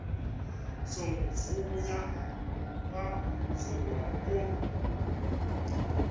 songo vhuya vha vuwa vho